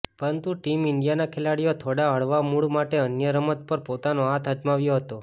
પરંતુ ટીમ ઇન્ડિયાના ખેલાડીઓ થોડા હળવા મુળ માટે અન્ય રમત પર પોતાનો હાથ અજમાવ્યો હતો